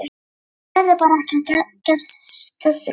Hún getur bara ekki að þessu gert.